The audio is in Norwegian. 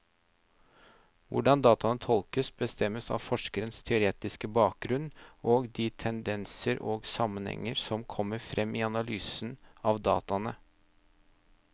Hvordan dataene tolkes, bestemmes av forskerens teoretiske bakgrunnen og de tendenser og sammenhenger som kommer frem i analysen av dataene.